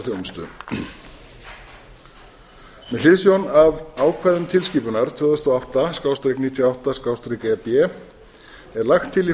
þjónustu með hliðsjón af ákvæðum tilskipunar tvö þúsund og átta níutíu og átta e b er lagt til í